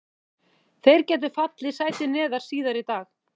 Þeir gætu fallið sæti neðar síðar í dag.